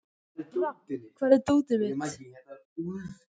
Rafn, hvar er dótið mitt?